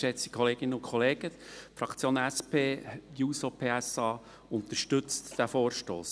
Die Fraktion SP-JUSO-PSA unterstützt den Vorstoss.